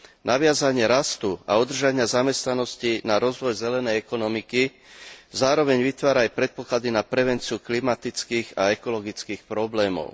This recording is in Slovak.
Naviazanie rastu a udržania zamestnanosti na rozvoj zelenej ekonomiky zároveň vytvára aj predpoklady na prevenciu klimatických a ekologických problémov.